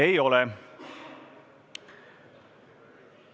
Ei ole.